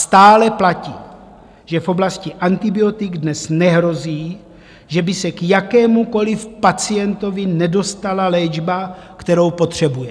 Stále platí, že v oblasti antibiotik dnes nehrozí, že by se k jakémukoliv pacientovi nedostala léčba, kterou potřebuje.